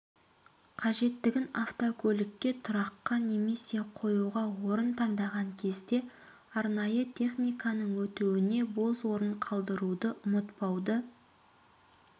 қажеттігін автокөлікке тұраққа немесе қоюға орын таңдаған кезде арнайы техниканың өтуіне бос орын қалдыруды ұмытпауды